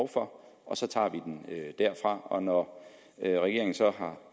for og så tager vi den derfra og når regeringen så har